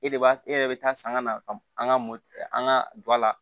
E de b'a e yɛrɛ bɛ taa san ka na ka an ka mo an ka don a la